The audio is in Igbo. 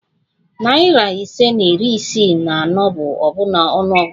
Narị ise na iri isii na anọ bụ ọbụna ọnụ ọgụgụ